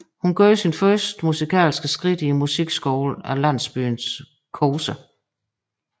Hun gjorde sin første musikalske skridt i musikskolen af landsbyen Kose